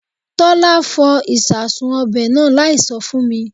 Tọ́lá fọ ìsasùn ọbẹ̀ náà láì sọ fún mi